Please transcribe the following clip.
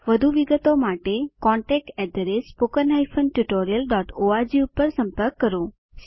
વધુ વિગતો માટે contactspoken tutorialorg પર સંપર્ક કરો